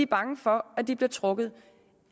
bange for at de bliver trukket